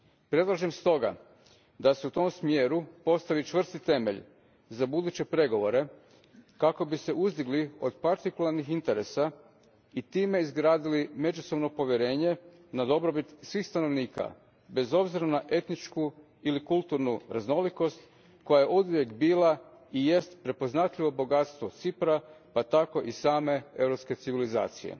Predlažem stoga da se u tom smjeru postavi čvrst temelj za buduće pregovore kako bi se uzdigli od partikularnih interesa i time izgradili međusobno povjerenje na dobrobit svih stanovnika bez obzira na etničku ili kulturnu raznolikost koja je oduvijek bila i jest prepoznatljivo bogatstvo Cipra pa tako i same europske civilizacije.